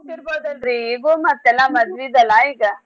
ಹೋಗ್ತಿರ್ಬೋದಲ್ರೀ ಈಗೂ ಮತ್ ಎಲ್ಲಾ ಮದ್ವಿದ್ ಅಲ್ಲ ಈಗ.